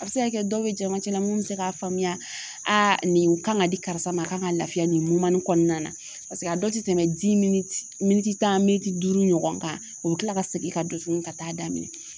A bɛ se ka kɛ dɔw bɛ jɛmancɛ la mun bɛ se k'a faamuya nin kan ka di karisa ma a kan ka lafiya nin nin kɔɔna na paseke a dɔw te tɛmɛ miniti tan miniti duuru ɲɔgɔn kan, o bɛ tila ka segin ka dosun ka taa'a daminɛ